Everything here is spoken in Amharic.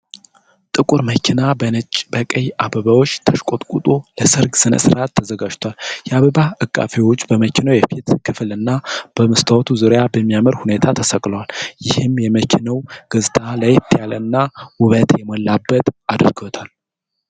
ጥቁር መኪና በነጭና በቀይ አበባዎች ተሽቆጥቁጦ ለሠርግ ሥነ-ሥርዓት ተዘጋጅቷል፡፡ የአበባ ዐቃፊዎቹ በመኪናው የፊት ክፍልና በመስታወቱ ዙሪያ በሚያምር ሁኔታ ተሰቅለዋል፡፡ ይህም የመኪናውን ገጽታ ለየት ያለና ውበት የሞላበት አድርጎታል፡፡